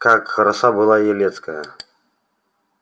как хороша была елецкая